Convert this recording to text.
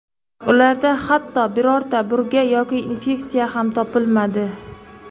Ularda hatto birorta burga yoki infeksiya ham topilmadi.